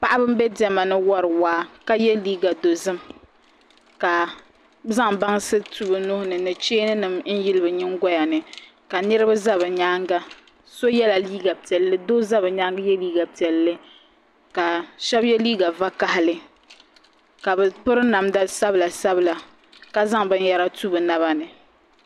Paɣaba n bɛ diɛma ni wori waa ka yɛ liiga dozim ka zaŋ bansi tu bi nuhuri ni ni cheeni nim n yili bi nyingoya ni ka niraba ʒɛ bi nyaanga so yɛla liiga piɛlli doo za bi nyaangi yɛ liiga piɛlli ka so yɛ liiga vakaɣali ka bi piri namda sabila sabila ka zaŋ binyɛra tu bi naba ni